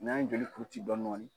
N'an ye joli kuru ci dɔɔni dɔɔni.